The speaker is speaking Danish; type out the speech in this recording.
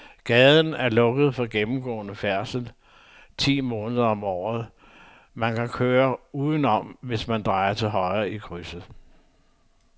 Gaden er lukket for gennemgående færdsel ti måneder om året, men man kan køre udenom, hvis man drejer til højre i krydset.